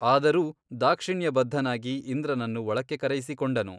ಆದರೂ ದಾಕ್ಷಿಣ್ಯಬದ್ಧನಾಗಿ ಇಂದ್ರನನ್ನು ಒಳಕ್ಕೆ ಕರೆಯಿಸಿಕೊಂಡನು.